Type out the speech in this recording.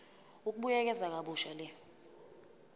ukubuyekeza kabusha le